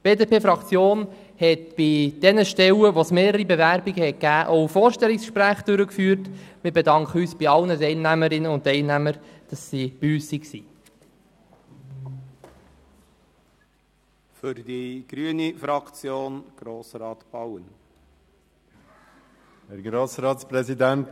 Die BDP-Fraktion hat bei den Stellen, bei denen es mehrere Bewerbungen gegeben hat, Vorstellungsgespräche durchgeführt, und wir bedanken uns bei allen Teilnehmerinnen und Teilnehmern, dass sie bei uns waren.